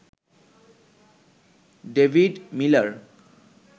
David Miller